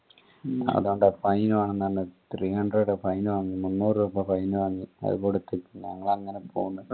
അതോണ്ട് fine വേണംന്ന് പറഞ്ഞ് three hundred fine വാങ്ങി മുന്നൂറ് രൂപ fine വാങ്ങി അത് കൊടുത്ത് ഞങ്ങൾ അങ്ങനെ പൊന്ന്